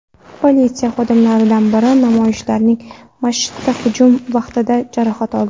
Politsiya xodimlaridan biri namoyishchilarning masjidga hujumi vaqtida jarohat oldi.